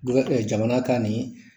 Duaa kɛ jamana ta nin